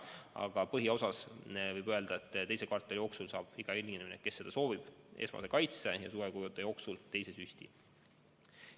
Aga põhiosas võib öelda, et teise kvartali jooksul saab iga inimene, kes soovib, esmase kaitse ja suvekuude jooksul teise süsti.